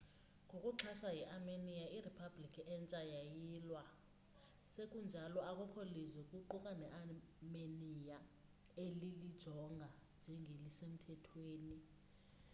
ngokuxhaswa yiarmenia iriphablikhi entsha yayilwa sekunjalo akukho lizwe kuquka nearmenia elilijonga njengelisemthethweni